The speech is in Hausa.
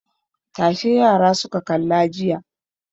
Tashe yara suka kalla jiya.